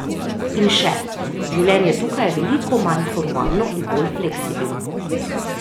In še: 'Življenje tukaj je veliko manj formalno in bolj fleksibilno.